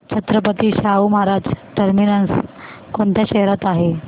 Chhatrapati Shahu Maharaj terminus कोणत्या शहरात आहे